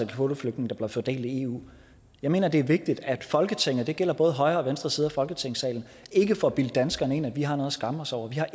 kvoteflygtninge der bliver fordelt i eu jeg mener at det er vigtigt at folketinget og det gælder både højre og venstre side af folketingssalen ikke får bildt danskerne ind at vi har noget at skamme os over vi har